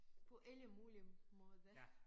På alle mulige måder